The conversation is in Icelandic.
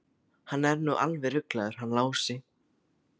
Hann er nú alveg ruglaður hann Lási.